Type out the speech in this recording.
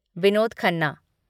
Vinod Khanna